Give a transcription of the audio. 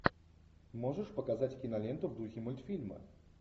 можешь показать киноленту в духе мультфильма